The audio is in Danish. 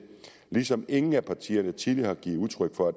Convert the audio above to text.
ligesom ingen af partierne tidligere har givet udtryk for at